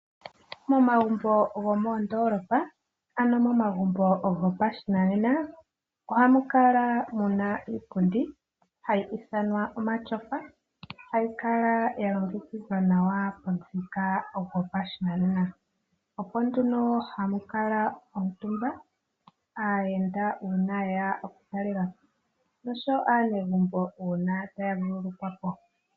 Momagumbo gomoondoolopa, ano momagumbo goshinanena ohamu kala mu na iipundi mbyono hayi ithanwa omatyofa, hayi kala ya longekidhwa nawa pamuthika gopashinanena. Oko nduno haku kala aayenda omutumba uuna ye ya okutalela po, oshowo aanegumbo uuna taya vululukwa po.